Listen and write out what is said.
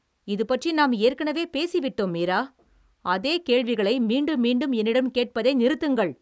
இதுபற்றி நாம் ஏற்கனவே பேசி விட்டோம் மீரா! அதே கேள்விகளை மீண்டும் மீண்டும் என்னிடம் கேட்பதை நிறுத்துங்கள்.